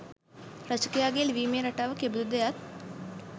රචකයාගේ ලිවීමේ රටාව කෙබඳුද යත්